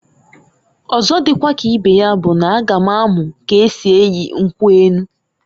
Ọzo dikwa ka ibe ya bụ n'a ga m amu k'esi enyi nkwu enu.